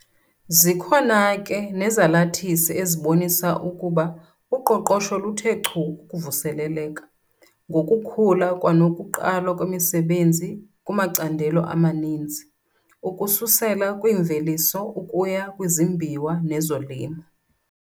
Zikhona ke nezalathisi ezibonisa ukuba uqoqosho luthe chu ukuvuseleleka, ngokukhula kwanokuqalwa kwemisebenzi kumacandelo amaninzi, ukususela kwimveliso ukuya kwizimbiwa nezolimo.